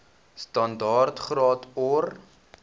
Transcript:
standaard graad or